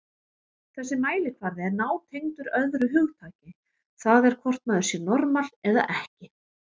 Þessi mælikvarði er nátengdur öðru hugtaki, það er hvort maður sé normal eða ekki.